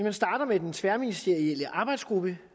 vi starter med den tværministerielle arbejdsgruppe